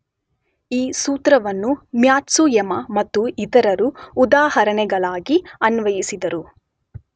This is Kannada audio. ಈ ಸೂತ್ರವನ್ನು ಮ್ಯಾತ್ಸುಯಮ ಮತ್ತು ಇತರರು ಉದಾಹರಣೆಗಳಾಗಿ ಅನ್ವಯಿಸಿದರು.